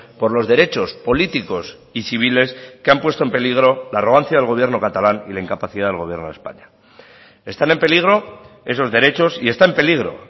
por los derechos políticos y civiles que han puesto en peligro la arrogancia del gobierno catalán y la incapacidad del gobierno de españa están en peligro esos derechos y está en peligro